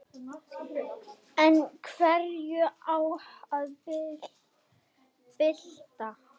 En hverju á að bylta?